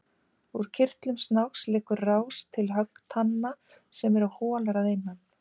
Úr kirtlum snáksins liggur rás til höggtanna sem eru holar að innan.